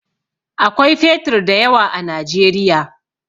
Akwai fetur da yawa a Najeriya.